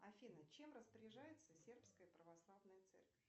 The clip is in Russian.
афина чем распоряжается сербская православная церковь